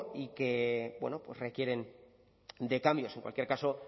y que bueno pues requieren de cambios en cualquier caso